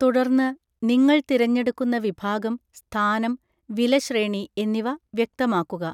തുടർന്ന്, നിങ്ങൾ തിരഞ്ഞെടുക്കുന്ന വിഭാഗം, സ്ഥാനം, വിലശ്രേണി എന്നിവ വ്യക്തമാക്കുക.